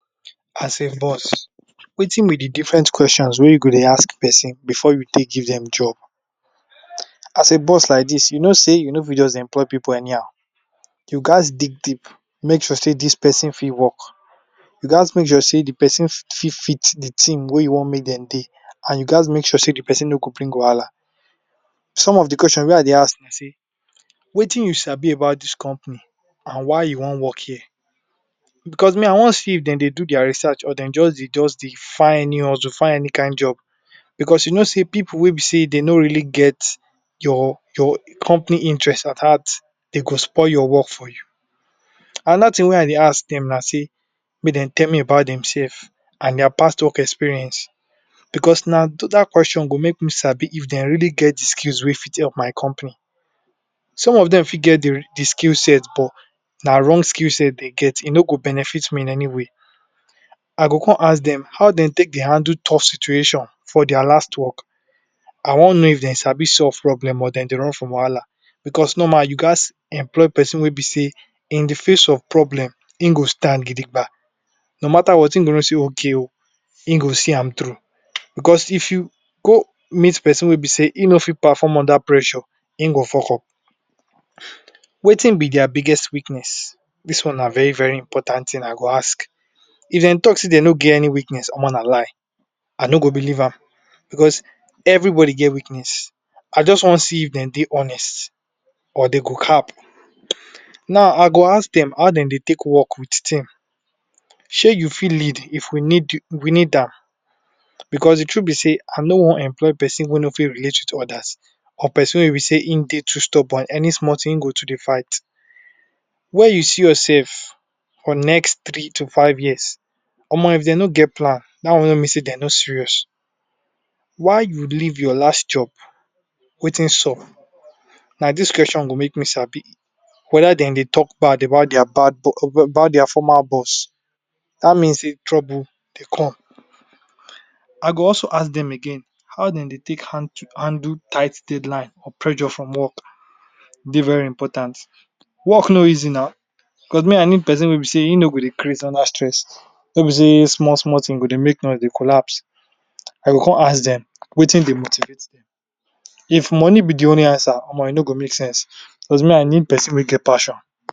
As a boss, wetin be de different question wey you go dey ask person before you take give dem job, as a boss like dis, you know sey you no fit just employ pipu anyhow. You gats dig deep, make sure sey dis person fit work, you gats make sure sey fit fit de thing wey you want make dem dey and you gats make sure sey de person no go bring. Some of de questions wey I dey ask be sey, wetin you sabi about dis company and why you want work here, becos me I want see if dem dey do dia research or dem just dey just dey just dey find any hustle, find any kind job becos you know sey pipu wey dey no really get your your company interest at heart, dey go spoil your work for you. Another thing wey I dey ask dem na sey, make dem tell me about demsef and dia past work experience becos na dat question go make me sabi if dem really get de skills wey fit help my company. Some of dem fit get de skill set but na wrong skill set dey get, e no go benefit me in any way. I go come ask dem how dey take dey handle tough situation for dia last work, I want know if dem sabi solve problem or dem dey run from becos normal you gats employ person wey be sey in de face of problem, im go stand no mata what im go know sey ok o, im go see am through. Becos if you go meet person wey be sey e no fit perform under pressue, im go fuck up. Wetin be dia biggest weakness? Dis one na very very important thing I go ask. If dem talk sey dey no get any weakness, na lie I no go believe am, becos everybody get weakness. I just want see if dem dey honest or dey go cap. Now I go ask dem how dey dey take work with team, you fit lead if we need we need am becos de truth be sey I no want employ person wey no fit relate with others, or person wey be sey im dey too stubborn, any small thing im go to dey fight. Where you see yourself for next three to five years? if dey no get plan, dat one don mean sey dey no serious. Why you leave your last job, wetin sup? na dis question go make me sabi whether dem dey talk bad about dia bad about dia former boss, dat mean sey trouble dey come. I go also ask dem again, how dem dey take handle tight deadline or pressure from work, dey very important, work no easy now, becos me I need person wey be sey im no go dey craze under stress, wey be sey small small thing e go dey make noise, dey collapse. I go come ask dem, wetin dey motivate dem, if money be de only answer e no go make sense becos me I need person wey get passion.